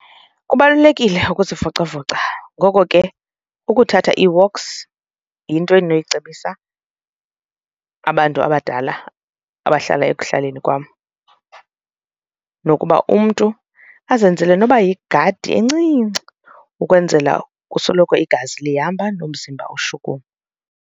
Kubalulekile ukuzivocavoca, ngoko ke ukuthatha ii-walks yinto endinoyicebisa abantu abadala abahlala ekuhlaleni kwam nokuba umntu azenzele noba yigadi encinci ukwenzela kusoloko igazi lihamba, nomzimba ushukuma.